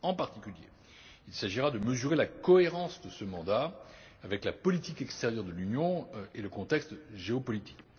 En particulier, il s'agira de mesurer la cohérence de ce mandat avec la politique extérieure de l'Union et le contexte géopolitique.